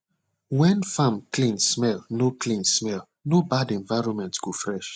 when farm clean smell no clean smell no bad environment go fresh